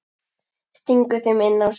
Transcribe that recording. Stingur þeim inn á sig.